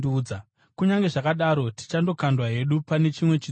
Kunyange zvakadaro tichandokandwa hedu pane chimwe chitsuwa.”